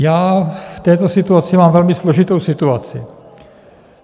Já v této situaci mám velmi složitou situaci.